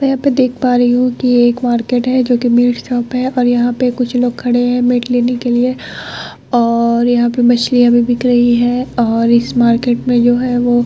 यहाँ पे देख पा रही हु की एक मार्किट है जो की मीट शॉप और यहाँ पे कुछ लोग खड़े है मीट लेने केलिए । और यहाँ पे मछलिया भी बिक रही और इस मार्किट में जो है वो --